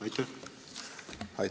Aitäh!